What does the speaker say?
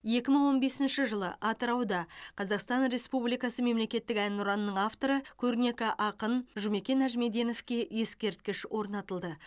екі мың он бесінші жылы атырауда қазақстан республикасы мемлекеттік әнұранының авторы көрнекі ақын жұмекен нәжімеденовке ескерткіш орнатылды